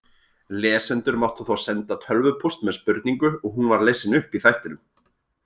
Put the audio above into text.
Lesendur máttu þá senda tölvupóst með spurningu og hún var lesin upp í þættinum.